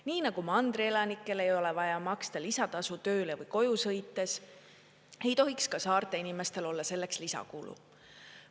Nii nagu mandri elanikel ei ole vaja maksta lisatasu tööle või koju sõites, ei tohiks ka saarte inimestel olla selleks lisakulu.